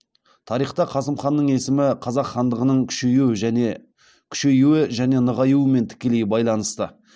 тарихта қасым ханның есімі қазақ хандығының күшеюі және нығаюымен тікелей байланысты